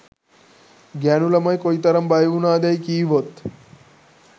ගෑනු ළමයි කොයිතරම් බය වුණාදැයි කීවොත්